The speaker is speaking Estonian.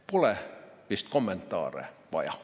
Pole vist kommentaare vaja.